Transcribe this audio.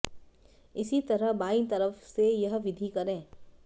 इसी तरह बाईं तरफ से यह विधि करे